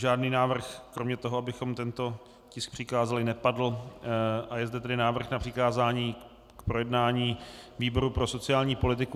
Žádný návrh kromě toho, abychom tento tisk přikázali, nepadl, a je zde tedy návrh na přikázání k projednání výboru pro sociální politiku.